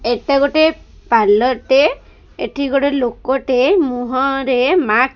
ଏଟା ଗୋଟେ ପାର୍ଲର ଟେ ଏଠି ଗୋଟେ ଲୋକଟେ ମୁହଁ ରେ ମା --